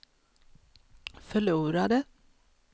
förlorade